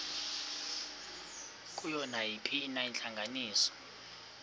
kuyo nayiphina intlanganiso